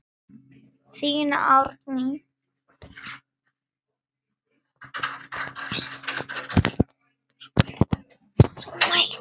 Þín, Árný.